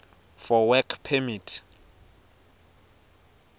for work permit